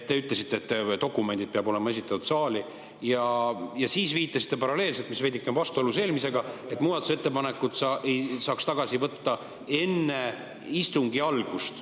Te ütlesite, et dokumendid peavad olema saali esitatud, ja siis viitasite paralleelselt – see on veidike vastuolus eelmisega –, et muudatusettepaneku saaks tagasi võtta enne istungi algust.